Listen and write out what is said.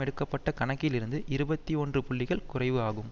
எடுக்க பட்ட கணக்கில் இருந்து இருபத்தி ஒன்று புள்ளிகள் குறைவு ஆகும்